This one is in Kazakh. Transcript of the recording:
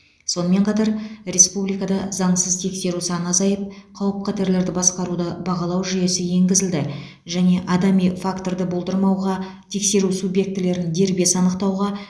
сонымен қатар республикада заңсыз тексеру саны азайып қауіп қатерлерді басқаруды бағалау жүйесі енгізілді және адами факторды болдырмауға тексеру субъектілерін дербес анықтауға